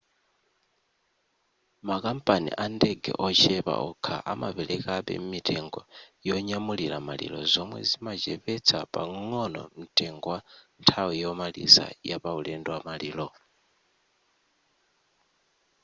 makampani andege ochepa okha amaperekabe mitengo yonyamulira maliro zomwe zimachepetsa pang'ono mtengo wa nthawi yomaliza ya pauledo wa maliro